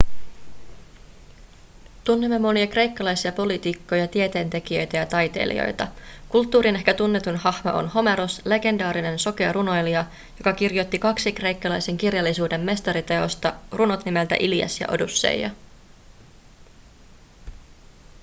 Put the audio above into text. tunnemme monia kreikkalaisia poliitikkoja tieteentekijöitä ja taiteilijoita kulttuurin ehkä tunnetuin hahmo on homeros legendaarinen sokea runoilija joka kirjoitti kaksi kreikkalaisen kirjallisuuden mestariteosta runot nimeltä ilias ja odysseia